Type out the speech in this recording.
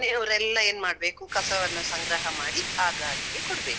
ಮನೆಯವ್ರೆಲ್ಲ ಏನ್ ಮಾಡ್ಬೇಕು, ಕಸವನ್ನ ಸಂಗ್ರಹ ಮಾಡಿ ಆ ಗಾಡಿಗೆ ಕೊಡ್ಬೇಕು.